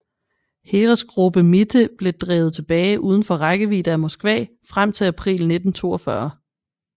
Heeresgruppe Mitte blev drevet tilbage udenfor rækkevidde af Moskva frem til april 1942